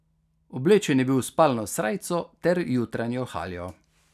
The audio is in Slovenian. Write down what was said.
Oblečen je bil v spalno srajco ter jutranjo haljo.